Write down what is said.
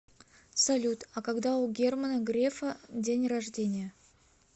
салют а когда у германа грефа день рождения